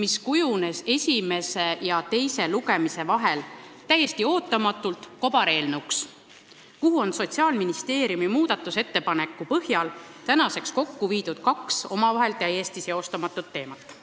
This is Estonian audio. millest kujunes esimese ja teise lugemise vahel täiesti ootamatult kobareelnõu, kus on Sotsiaalministeeriumi ettepaneku põhjal viidud kokku kaks omavahel täiesti seostamatut teemat.